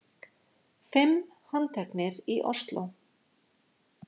Fimm handteknir í Ósló